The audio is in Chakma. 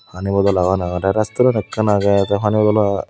pani bottle agon aro the restaurant ekkan age the pani bottle.